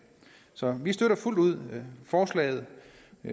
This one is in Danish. så vi støtter fuldt ud forslaget